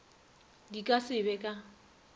di ka se be ka